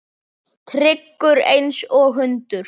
Tryggur einsog hundur.